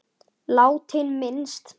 Látinna minnst.